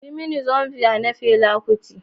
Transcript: Yi mini "Zombie" na Fela Kuti.